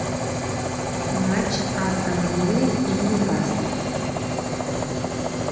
матч астон виллы и ньюкасла